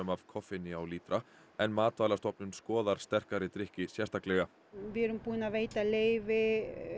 af koffeini á lítra en Matvælastofnun skoðar sterkari drykki sérstaklega við erum búin að veita leyfi